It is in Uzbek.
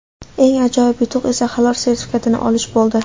Eng ajoyib yutuq esa Halol sertifikatini olish bo‘ldi.